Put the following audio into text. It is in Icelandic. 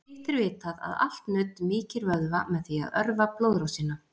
hitt er vitað að allt nudd mýkir vöðva með því að örva blóðrásina